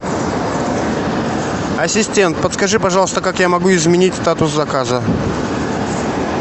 ассистент подскажи пожалуйста как я могу изменить статус заказа